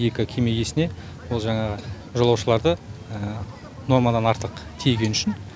екі кеме иесіне ол жаңағы жолаушыларды нормадан артық тиегені үшін